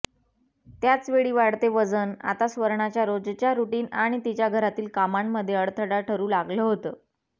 त्याचवेळी वाढते वजन आता स्वर्णाच्या रोजच्या रूटीन आणि तिच्या घरातील कामांमध्ये अडथळा ठरू लागलं होतं